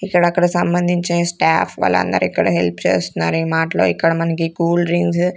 ఇక్కడక్కడ సంబంధించిన స్టాప్ వాళ్ళందర్ ఇక్కడ హెల్ప్ చేస్తన్నార్ ఈ మార్ట్ లో ఇక్కడ మనకి కూల్ డ్రింక్సు --